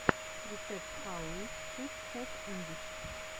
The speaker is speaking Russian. рецепт хау ит шуд хэв эндид